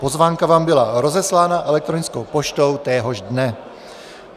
Pozvánka vám byla rozeslána elektronickou poštou téhož dne.